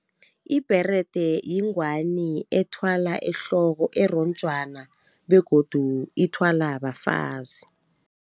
Ibherede yingwani ethwala ehloko eronjwana begodu ithwala bafazi.